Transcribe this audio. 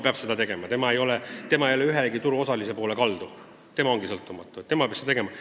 Tema ei ole ühegi turuosalise poole kaldu, tema on sõltumatu ja peab otsuse tegema.